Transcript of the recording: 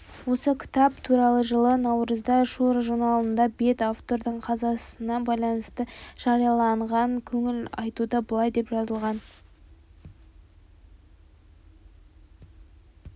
осы кітап туралы жылы наурызда шуро журналында бет автордың қазасына байланысты жарияланған көңіл айтуда былай деп жазылған